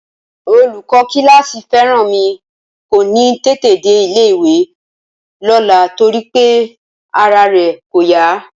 Olùkọ́ kíláàsì Fẹ́rànmi kò ní tètè dé ilé-ìwé lọ́la torí pé ara rẹ̀ kò yá